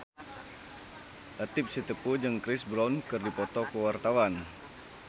Latief Sitepu jeung Chris Brown keur dipoto ku wartawan